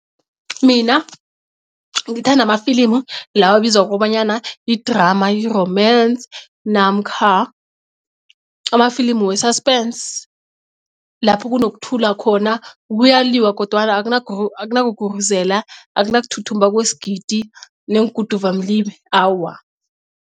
Mina ngithanda amafilimu lawa abizwa ngokobanyana yi-drama, yi-romance, namkha amafilimu we-suspence lapho kunokuthula khona kuyaliywa kodwana akunakuguruzela akuna kuthuthumba kwesigidi neenguduvamlibe awa.